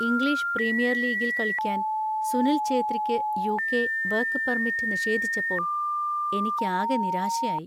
English premier ലീഗിൽ കളിക്കാൻ സുനിൽ ഛേത്രിക്ക് യു.കെ. വർക്ക് പെർമിറ്റ് നിഷേധിച്ചപ്പോൾ എനിക്ക് ആകെ നിരാശയായി.